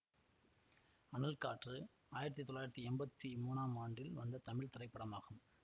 அனல் காற்று ஆயிரத்தி தொள்ளாயிரத்தி எம்பத்தி மூனாம் ஆண்டில் வந்த தமிழ் திரைப்படமாகும்